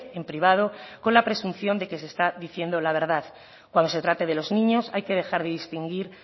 en privado con la presunción de que se está diciendo la verdad cuando se trate de los niños hay que dejar de distinguir